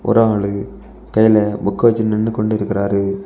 ஒரு ஆளு கையில புக் வெச்சிட்டு நின்னு கொண்டிருக்காரு.